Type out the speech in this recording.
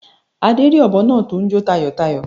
Adé rí òbọ náa tó n jó tayòtayò